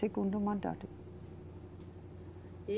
Segundo mandato. E